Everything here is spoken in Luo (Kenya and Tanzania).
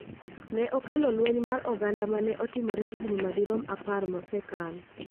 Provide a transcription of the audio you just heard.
ne okelo lweny mar oganda ma ne otimore higni madirom apar mosekalo.